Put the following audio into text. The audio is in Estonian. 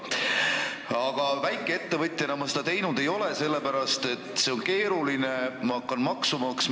Aga väikeettevõtjana ma seda teinud ei ole, sellepärast et see on keeruline – ma hakkan maksu maksma.